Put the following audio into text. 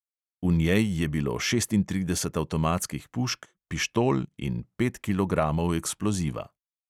V njej je bilo šestintrideset avtomatskih pušk, pištol in pet kilogramov eksploziva.